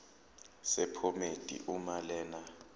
sephomedi uma lena